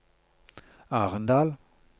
Arendal